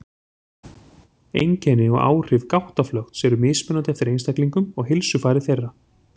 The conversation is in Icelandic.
Einkenni og áhrif gáttaflökts eru mismunandi eftir einstaklingum og heilsufari þeirra.